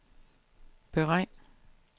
beregn